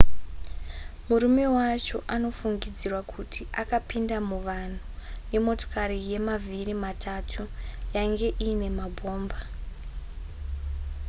murume wacho anofungidzirwa kuti akapinda muvanhu nemotokari yemavhiri matatu yainge iine mabhomba